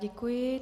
Děkuji.